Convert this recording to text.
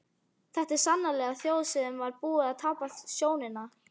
Þetta var sannarlega þjóð sem var búin að tapa sjóninni.